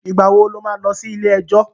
Ìgbà wo lo má lọ sí ilé-ẹjọ̀?